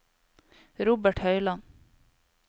Robert Høyland